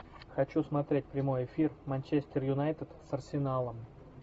хочу смотреть прямой эфир манчестер юнайтед с арсеналом